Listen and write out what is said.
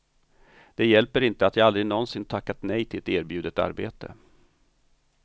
Det hjälper inte att jag aldrig någonsin tackat nej till ett erbjudet arbete.